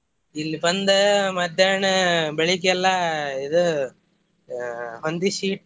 ಇಲ್ಲಿ ಬಂದ ಮಧ್ಯಾಹ್ನ ಬೆಳಿಗ್ಗೆಲ್ಲ ಇದು ಹೊಂದಿಸಿ.